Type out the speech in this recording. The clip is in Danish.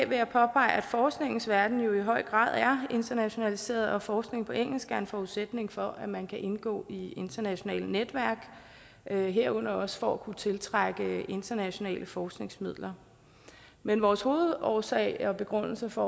vil jeg påpege at forskningens verden jo i høj grad er internationaliseret og forskning på engelsk er en forudsætning for at man kan indgå i internationale netværk herunder også for at kunne tiltrække internationale forskningsmidler men vores hovedårsag og begrundelse for